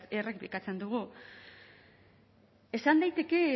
errepikatzen dugu esan daiteke